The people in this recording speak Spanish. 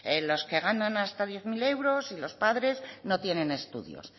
los que ganan hasta diez mil euros y los padres no tienen estudios